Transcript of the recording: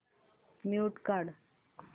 mute काढ